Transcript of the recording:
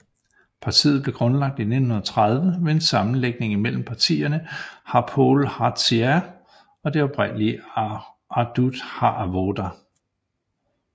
Partiet blev grundlagt i 1930 ved en sammenlægning mellem partierne Hapoel Hatzair og det oprindelige Ahdut HaAvoda